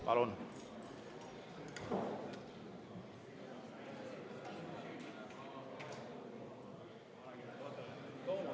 Palun!